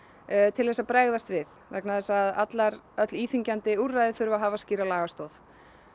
til þess að bregðast við vegna þess að öll íþyngjandi úrræði þurfa að hafa skýra lagastoð